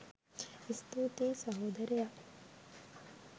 ස්තුතියි සහෝදරයා